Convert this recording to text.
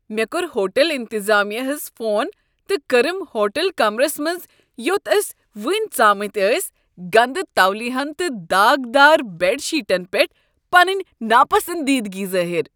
مےٚ کوٚر ہوٹل انتظامیہ ہس فون تہٕ کٔرم ہوٹل کمرس منٛز یوٚت أسۍ وٕنۍ ژامٕتۍ ٲسۍ گندٕ تولِیاہن تہٕ داغدار بیڈ شیٹن پیٹھ پنٕنۍ ناپسنٛدیٖدگی ظٲہِر۔